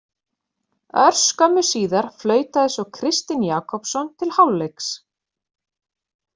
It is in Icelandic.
Örskömmu síðar flautaði svo Kristinn Jakobsson til hálfleiks.